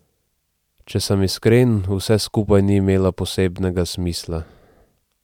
Če sem iskren, vse skupaj ni imelo posebnega smisla.